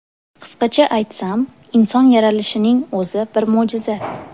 Qisqacha aytsam, inson yaralishining o‘zi bir mo‘jiza.